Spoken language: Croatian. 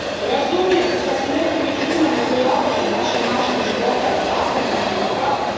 Razumijem i da su neki među njima neprilagođeni našem načinu života i zakonima koji ga prate.